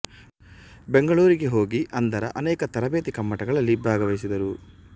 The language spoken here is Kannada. ಬೆಂಗಳೂರಿಗೆ ಹೋಗಿ ಅಂಧರ ಅನೇಕ ತರಪೇತಿ ಕಮ್ಮಟ ಗಳಲ್ಲಿ ಭಾಗವಹಿಸಿದರು